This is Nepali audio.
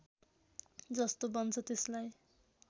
जस्तो बन्छ त्यसलाई